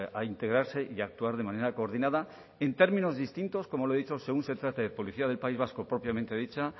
a integrarse y a actuar de manera coordinada en términos distintos como le he dicho según se trate de policía del país vasco propiamente dicha